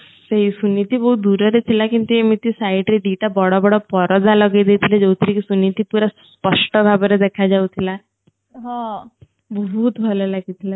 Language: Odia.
ସେ ସୁନିଧି ବହୁତ ଦୁର ରେ ଥିଲା କେମିତି ଏମିତି side ରେ ଦି ଟା ବଡ ବଡ ପରଦା ଲଗେଇ ଦେଇଥିଲେ ଯୋଉଥିରେ କି ସୁନିଧି ପୁରା ସ୍ପଷ୍ଠ ଭାବରେ ଦେଖା ଯାଉଥିଲା ବହୁତ ଭଲ ଲାଗି ଥିଲା